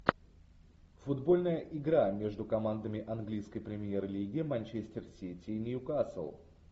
футбольная игра между командами английской премьер лиги манчестер сити и ньюкасл